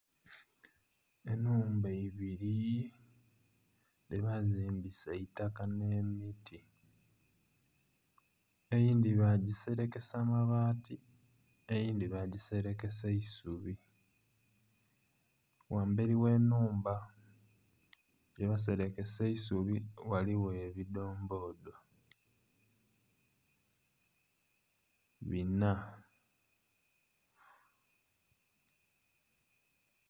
Enhumba ibiri dhebazimbisa eitaka ne miti, eyindhi bagiserekesa amabaati eyindhi bagiserekesa eisubi. Wamberi ghe nhumba gye baserekesa eisubi ghaligho ebidombodo bina